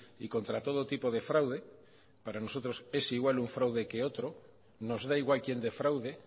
y contra todo tipo de fraude para nosotros es igual un fraude que otro nos da igual quién defraude